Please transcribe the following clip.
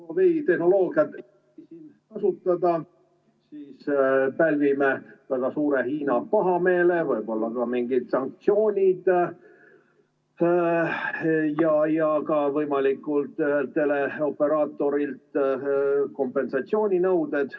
Huawei tehnoloogiat ... kasutada, siis pälvime Hiina väga suure pahameele, võib-olla ka mingid sanktsioonid ja ka võimalikult teleoperaatorilt kompensatsiooninõuded.